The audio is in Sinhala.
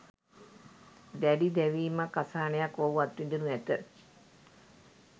දැඩි දැවීමක්, අසහනයක් ඔහු අත්විඳිනු ඇත.